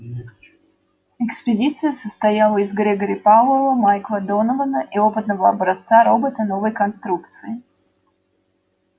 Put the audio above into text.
экспедиция состояла из грегори пауэлла майкла донована и опытного образца робота новой конструкции